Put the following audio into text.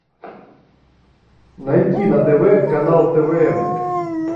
найти на тв канал твм